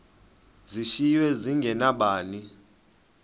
zishiywe zinge nabani